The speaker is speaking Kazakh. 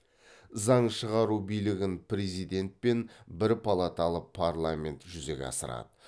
заң шығару билігін президент пен бір палаталы парламент жүзеге асырады